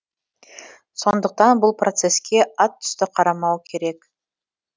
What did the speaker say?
сондықтан бұл процеске атүсті қарамау керек